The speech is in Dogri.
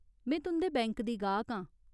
में तुं'दे बैंक दी गाह्क आं।